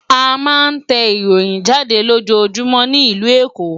A ma ń tẹ ìròyìn jáde lójoójúmọ́ ní ìlú Èkó